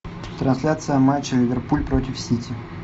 трансляция матча ливерпуль против сити